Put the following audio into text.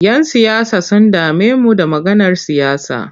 Yan siyasa sun dame mu da maganar siyasa.